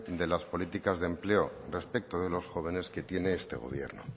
de las políticas de empleos respecto de los jóvenes que tiene este gobierno